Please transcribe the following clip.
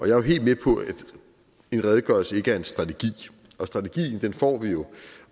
jeg er helt med på at en redegørelse ikke er en strategi strategien får vi jo